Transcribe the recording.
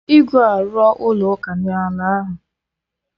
Igwe arụ ọ ụlọ ụka na ala ahụ